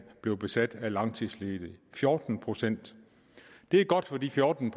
blevet besat af langtidsledige fjorten procent det er godt for de fjorten